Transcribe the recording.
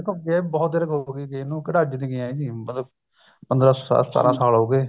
ਦੇਖੋ ਬਹੁਤ ਦੇਰ ਹੋਗੀ ਗਿਆਂ ਨੂੰ ਕਿਹੜਾ ਅੱਜ ਦੇ ਗਏ ਹਾਂ ਜੀ ਮਤਲਬ ਪੰਦਰਾ ਸਤਾਰਾਂ ਸਾਲ ਹੋਗੇ